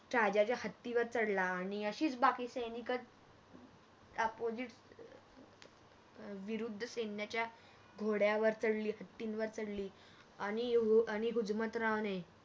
राजाच्या हत्तीवर चढला आणि अशीच बाकी सैनिक Opposite अह विरुद्ध सैन्याच्या घोड्यावर चढली हत्तीवर चढली आणि हुजमतरावणे